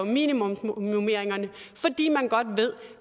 minimumsnormeringerne fordi man godt ved